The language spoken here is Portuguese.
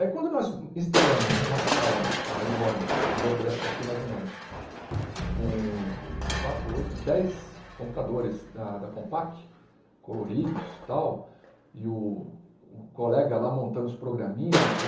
Aí quando nós instalamos uma sala nos caras enorme, o dobro dessa daqui mais ou menos, com quatro, oito, dez computadores da da Compaq, coloridos tal, e o o colega lá montando os programinhas lá,